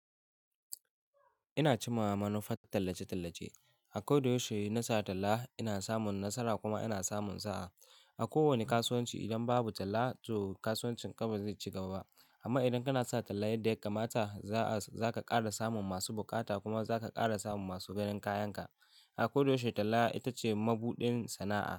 Ina cimma manufar tallace-tallace. A kodayaushe in na sa talla ina samun nasara kuma ina samun sa'a. A kowane kasuwanci idan babu talla to kasuwancin ka ba zai ci gaba ba. Amma idan kana sa talla yadda ya kammata za-za ka ƙara samun masu buƙata kuma za ka ƙara samun masu ganin kayan ka. A kodayaushe talla ita ce mabuɗin sana'a.